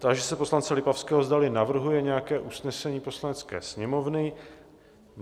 Táži se poslance Lipavského, zdali navrhuje nějaké usnesení Poslanecké sněmovny?